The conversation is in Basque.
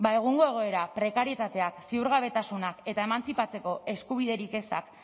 ezta ba egungo egoera prekarietateak ziurgabetasunak eta emantzipatzeko eskubiderik ezak